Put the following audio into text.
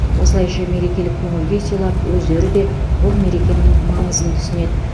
осылайша мерекелік көңіл күй сыйлап өздері де бұл мерекенің маңызын түсінеді